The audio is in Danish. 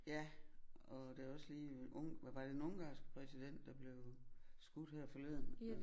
Ja og der er også lige øh var det den ungarske præsident der blev skudt her forleden